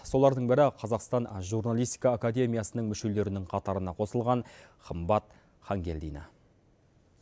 солардың бірі қазақстан журналистика академиясының мүшелерінің қатарына қосылған қымбат хангелдина